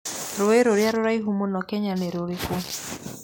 Rũũĩ rũrĩa rũraihu mũno Kenya nĩ rũrĩkũ?